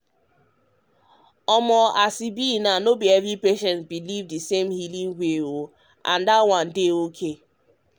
as e be so not every patient believe in the same healing way and that one dey okay.